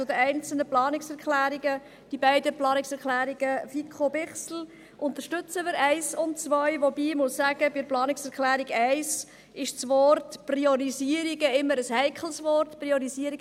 Zu den einzelnen Planungserklärungen: Die beiden Planungserklärungen 1 und 2, FiKo/Bichsel, unterstützen wir, wobei ich sagen muss, dass bei der Planungserklärung 1 das Wort «Priorisierungen» immer ein heikles Wort ist.